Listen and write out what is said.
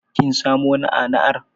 Kin samo na'ana'ar?